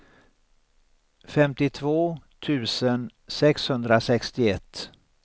femtiotvå tusen sexhundrasextioett